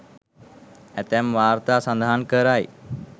ඇතැම් වාර්තා සඳහන් කරයි.